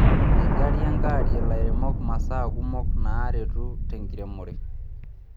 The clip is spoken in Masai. Eigarie aangarie lairemok masaa kumok naaretu tenkiremore.